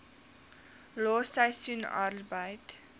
los seisoensarbeid